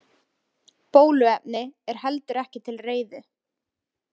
Bóluefni er heldur ekki til reiðu.